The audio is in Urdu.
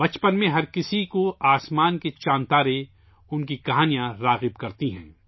بچپن میں ہر کسی کو آسمان کے چاند اور ستارے، ان کی کہانیاں اپنی طرف متوجہ کرتی ہیں